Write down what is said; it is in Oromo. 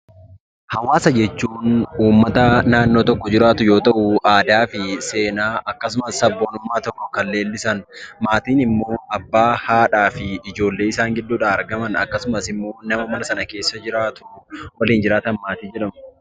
Haawaasa jechuun uummata naannoo tokko jiraatu yoo ta'u; aadaa fi seenaa akkasumas sabboonummaa tokko kan leellisani. Maatiin immoo Abbaa, haadha, ijoollee isaan gidduu dhaa argaman akkasumas immoo nama mana sana keessa jiraatuu waliin jiraatu maatii jedhamu.